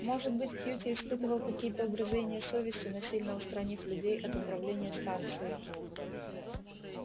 может быть кьюти испытывал какие-то угрызения совести насильно устранив людей от управления станцией